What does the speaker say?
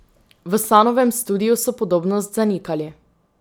V Sanovem studiu so podobnost zanikali.